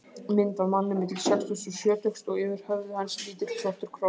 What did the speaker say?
Mynd af manni milli sextugs og sjötugs og yfir höfði hans lítill svartur kross.